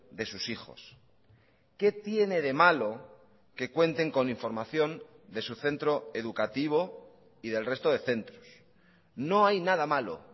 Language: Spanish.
de sus hijos qué tiene de malo que cuenten con información de su centro educativo y del resto de centros no hay nada malo